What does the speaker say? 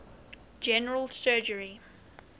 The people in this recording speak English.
general surgery